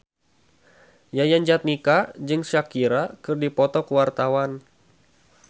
Yayan Jatnika jeung Shakira keur dipoto ku wartawan